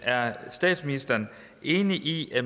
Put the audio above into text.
er statsministeren enig i at